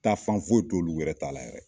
Taa fan foyi t'olu wɛrɛ ta la yɛrɛ